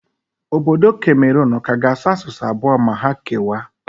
Obodo Kameron ọ ka ga-asụ asụsụ abụọ ma ha kewaa?